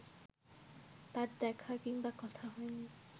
তার দেখা কিংবা কথা হয়নি